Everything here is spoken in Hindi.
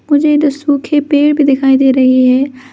मुझे दो सूखे पेड़ भी दिखाई दे रहे हैं।